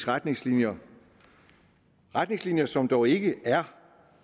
retningslinjer retningslinjer som dog ikke er